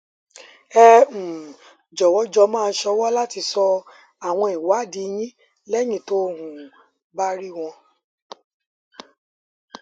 ẹ um jọwọ jọ máa sọwọ láti sọ àwọn ìwádìí yín lẹyìn tó um o bá rí wọn